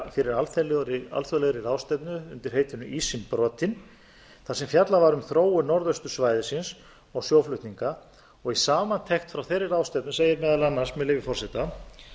fyrir alþjóðlegri ráðstefnu undir heitinu ísinn brotinn þar sem fjallað var um um þróun norðaustursvæðisins og sjóflutninga í samantekt frá þeirri ráðstefnu segir meðal annars með leyfi forseta